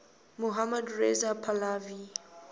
mohammad reza pahlavi